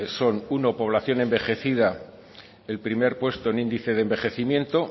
son uno población envejecida el primer puesto en el índice de envejecimiento